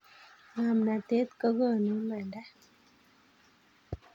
ngomnatet kokonu imanda